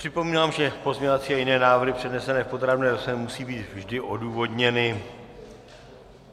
Připomínám, že pozměňovací a jiné návrhy přednesené v podrobné rozpravě musí být vždy odůvodněny.